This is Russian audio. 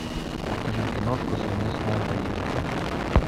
покажи киношку совместная поездка